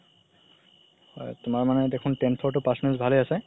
হয় তুমাৰ দেখোন tenth ৰ তো percentage ভালে আছে